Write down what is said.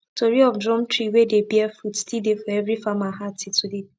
tori of drum tree wey dey bear fruit still dey for every farmer heart till today